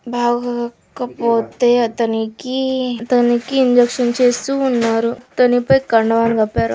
బాగోక పోతే అతనికి తన --